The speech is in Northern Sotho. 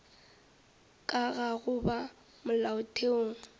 ka ga go ba molaotheong